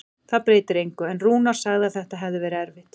Það breytir engu, en Rúnar sagði að þetta hefði verið erfitt.